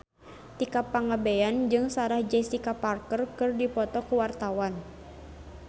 Tika Pangabean jeung Sarah Jessica Parker keur dipoto ku wartawan